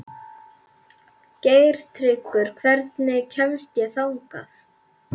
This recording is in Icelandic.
Geirtryggur, hvernig kemst ég þangað?